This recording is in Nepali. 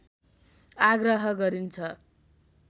आग्रह गरिन्छ